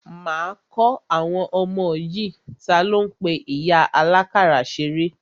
Máa kọ́ àwọn ọmọ yìí ní, talo ń pe ìyá àlákàrà ṣeré?